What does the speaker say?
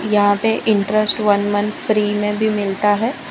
यहां पे interest one month free में भी मिलता है।